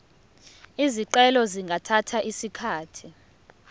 izicelo zingathatha isikhathi